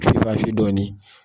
dɔɔnin